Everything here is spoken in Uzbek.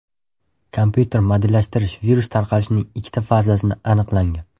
Kompyuter modellashtirish virus tarqalishining ikkita fazasini aniqlangan.